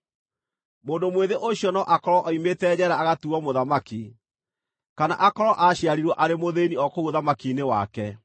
Mũndũ mwĩthĩ ũcio no akorwo oimĩte njeera agatuuo mũthamaki, kana akorwo aaciarirwo arĩ mũthĩĩni o kũu ũthamaki-inĩ wake.